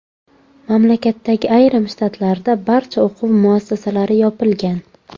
Mamlakatdagi ayrim shtatlarda barcha o‘quv muassasalari yopilgan.